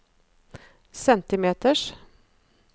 centimeters